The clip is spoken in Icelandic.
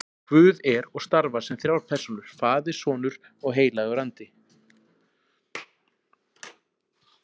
Guð er og starfar sem þrjár persónur, faðir og sonur og heilagur andi.